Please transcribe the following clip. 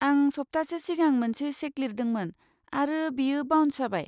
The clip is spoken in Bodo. आं सप्तासे सिगां मोनसे चेक लिरदोंमोन, आरो बेयो बाउन्स जाबाय।